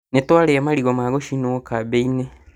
Nĩtwarĩa marigũ ma gũcinwo kambĩ-inĩ